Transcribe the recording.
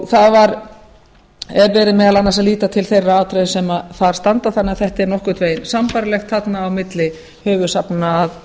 það er verið meðal annars að líta til þeirra atriða sem þar standa þannig að þetta er nokkurn veginn sambærilegt þarna á milli höfuðsafnanna